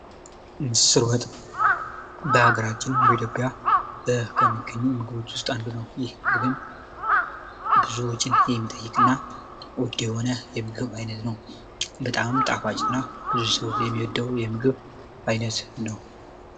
ምስር ወጥ በሀገራችን በኢትዮጵያ ከሚገኙ ምግቦች ውስጥ አንዱ ነው። ብዙዎችን የሚጠይቅና በጣም የሚጣፍጥ ምግብ ነው። ብዙ ሰው የሚወደው የምግብ ዓይነት ነው።